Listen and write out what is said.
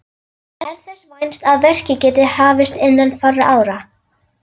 Er þess vænst að verkið geti hafist innan fárra ára.